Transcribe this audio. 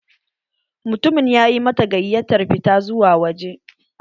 Mutumin ya ƴi mata gayattar fita zuwa wajeh